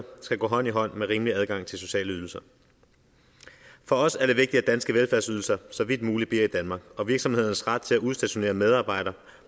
skal gå hånd i hånd med rimelig adgang til sociale ydelser for os er det vigtigt at danske velfærdsydelser så vidt muligt bliver i danmark og virksomhedernes ret til at udstationere medarbejdere